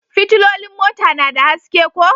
Fitilolin mota na da haske ko?